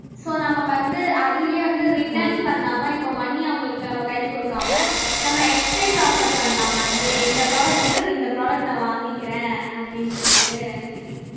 so நம்ம வந்து அதிலேயே வந்து return பண்ணாம இப்ப money அவங்களுக்கு நம்ம கையில கொடுக்காம நம்ம exchange offer பண்ணலாம் அதிலேயே இந்த product பதில் இந்த product நான் வாங்கிக்கிறேன் அப்படின்னு சொல்லிட்டு